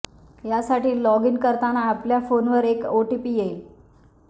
यासाठी log in करताना आपल्या फोनवर एक ओटीपी येईल